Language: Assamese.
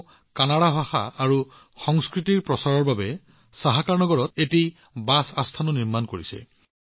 তেওঁ কানাড়া ভাষা আৰু সংস্কৃতিৰ প্ৰচাৰৰ বাবে সহাকাৰনগৰত এটা বাছ আশ্ৰয়ও নিৰ্মাণ কৰিছে